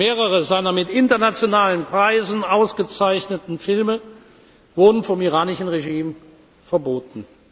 Mehrere seiner mit internationalen Preisen ausgezeichneten Filme wurden vom iranischen Regime verboten.